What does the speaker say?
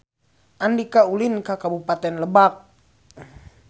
Andika ulin ka Kabupaten Lebak